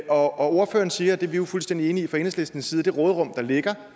og ordføreren siger og det er vi jo fuldstændig enige i fra enhedslistens side det råderum der ligger